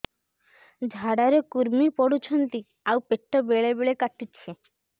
ଝାଡା ରେ କୁର୍ମି ପଡୁଛନ୍ତି ଆଉ ପେଟ ବେଳେ ବେଳେ କାଟୁଛି